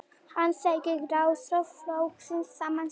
Hann segir grasrót flokksins sama sinnis